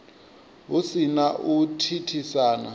hu si na u thithisa